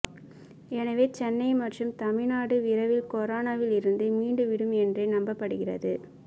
எனவே சென்னை மற்றும் தமிழ்நாடு விரைவில் கொரோனாவில் இருந்து மீண்டு விடும் என்றே நம்பப்படுகிறது